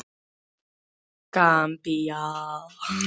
Gambía